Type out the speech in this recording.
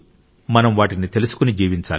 మనం వాటిని తెలుసుకుని జీవించాలి